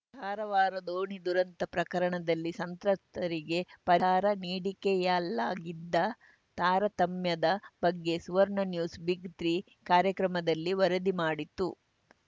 ಕಾರವಾರ ದೋಣಿ ದುರಂತ ಪ್ರಕರಣದಲ್ಲಿ ಸಂತ್ರಸ್ತರಿಗೆ ಪರಿಹಾರ ನೀಡಿಕೆಯಲ್ಲಾಗಿದ್ದ ತಾರತಮ್ಯದ ಬಗ್ಗೆ ಸುವರ್ಣ ನ್ಯೂಸ್‌ ಬಿಗ್‌ ತ್ರೀ ಕಾರ್ಯಕ್ರಮದಲ್ಲಿ ವರದಿ ಮಾಡಿತ್ತು